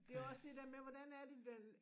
Det er også det der med hvordan er den